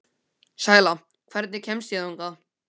Sæla, hvernig kemst ég þangað?